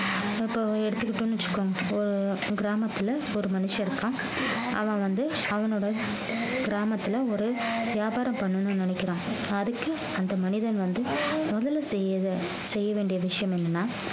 இப்ப எடுத்துக்கிட்டோம்ன்னு வச்சுக்கோங்க ஒரு கிராமத்துல ஒரு மனுஷன் இருக்கான் அவன் வந்து அவனோட கிராமத்துல ஒரு வியாபாரம் பண்ணணும்னு நினைக்கிறான் அதுக்கு அந்த மனிதன் வந்து முதல்ல செய்ய வே~ செய்ய வேண்டிய விஷயம் என்னன்னா